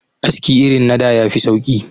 Aski irin na da ya fi sauki